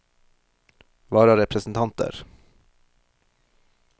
vararepresentanter